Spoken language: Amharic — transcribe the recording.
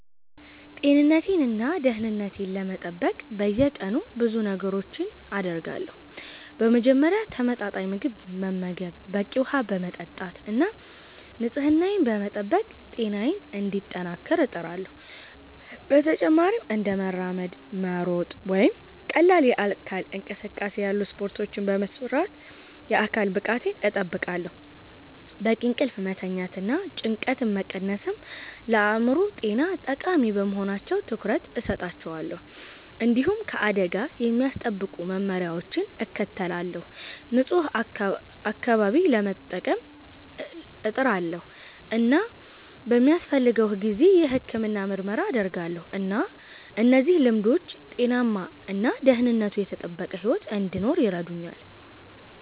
ጤንነቴን እና ደህንነቴን ለመጠበቅ በየቀኑ ብዙ ነገሮችን አደርጋለሁ። በመጀመሪያ ተመጣጣኝ ምግብ በመመገብ፣ በቂ ውሃ በመጠጣት እና ንጽህናዬን በመጠበቅ ጤናዬን እንዲጠናከር እጥራለሁ። በተጨማሪም እንደ መራመድ፣ መሮጥ ወይም ቀላል የአካል እንቅስቃሴ ያሉ ስፖርቶችን በመስራት የአካል ብቃቴን እጠብቃለሁ። በቂ እንቅልፍ መተኛትና ጭንቀትን መቀነስም ለአእምሮ ጤና ጠቃሚ በመሆናቸው ትኩረት እሰጣቸዋለሁ። እንዲሁም ከአደጋ የሚያስጠብቁ መመሪያዎችን እከተላለሁ፣ ንጹህ አካባቢ ለመጠቀም እጥራለሁ እና በሚያስፈልገው ጊዜ የሕክምና ምርመራ አደርጋለሁ። እነዚህ ልምዶች ጤናማ እና ደህንነቱ የተጠበቀ ሕይወት እንድኖር ይረዱኛል